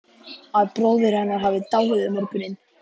Að bróðir hennar hafi dáið um morguninn